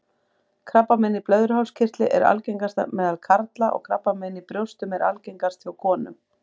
Krabbamein í blöðruhálskirtli er algengast meðal karla og krabbamein í brjóstum er algengast hjá konum.